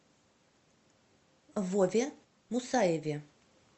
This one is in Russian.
вове мусаеве